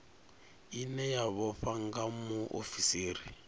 ine ya vhofha nga muofisiri